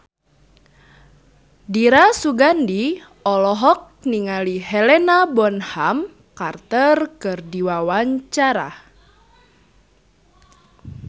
Dira Sugandi olohok ningali Helena Bonham Carter keur diwawancara